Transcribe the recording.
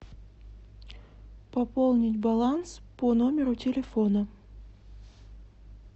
пополнить баланс по номеру телефона